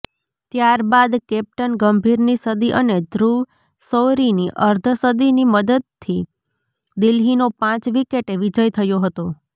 ત્યારબાદ કેપ્ટન ગંભીરની સદી અને ધ્રુવ શૌરીની અર્ધસદીની મદદથી દિલ્હીનો પાંચ વિકેટે વિજય થયો હતો